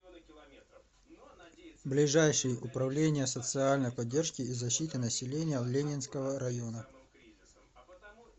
ближайший управление социальной поддержки и защиты населения ленинского района